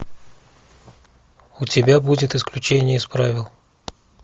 у тебя будет исключение из правил